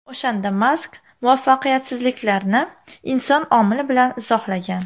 O‘shanda Mask muvaffaqiyatsizliklarni inson omili bilan izohlagan.